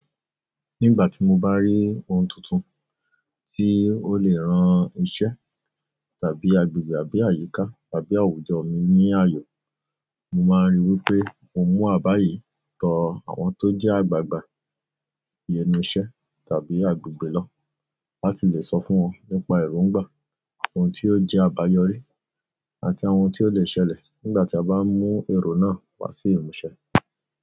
Nígbà tí mo bá rí ohun tuntun tí ó lè rán iṣẹ́ tàbí agbègbè àbí àyíká àbí àwùjọ mi ní ààyò, mo máa ríi wí pé mo mú àbá yìí tọ àwọn tó jẹ́ àgbàgbà bíi ẹnu iṣẹ́ tàbí agbègbè lọ láti lè sọ fún wọn nípa èrò ń gbà, ohun tí ó jẹ́ àbáyọrí àti àwọn ohun tí ó lè ṣẹlẹ̀ nígbà tí a bá mú èrò náà wá sí ìmúṣẹ.